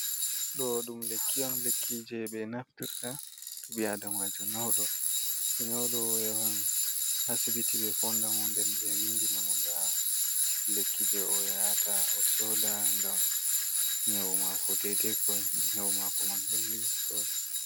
Ɗo ɗum lekki'on lekkije ɓe naftirta tuɓe'adamajo nyaudo do nyaudo oyahan asibiti be foodamo nden ɓe windinamu daa lekkije o yayata o sodaa ngam nyau maako dedei ko nyau maako man holli.